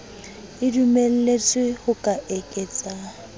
e dumelletswe ho ka eketsa